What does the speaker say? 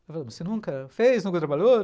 Ela falou, mas você nunca fez, nunca trabalhou?